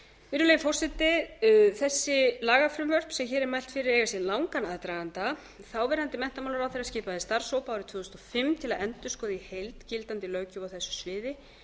virðulegi forseti þessi lagafrumvörp sem hér er mælt fyrir eiga sér langan aðdraganda þáverandi menntamálaráðherra skipaði starfshóp árið tvö þúsund og fimm til að endurskoða í heild gildandi löggjöf á þessu sviði